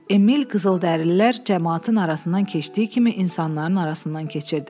Emil qızıldərililər camaatının arasından keçdiyi kimi insanların arasından keçirdi.